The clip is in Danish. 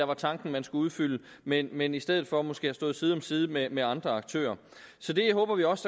var tanken man skulle udfylde men men i stedet for måske har stået side om side med med andre aktører så det håber vi også